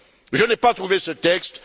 Je n'ai pas trouvé ce texte.